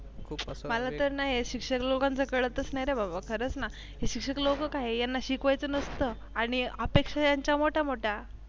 मला तर ना शिक्षक लोकांचं कळतच नाही रे बाबा खरंच ना हे शिक्षक लोक काय आहे यांना शिकवायचं नसतंआणि अपेक्षा यांच्या मोठ्या मोठ्या